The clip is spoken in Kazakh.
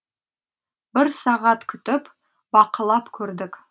бір сағат күтіп бақылап көрдік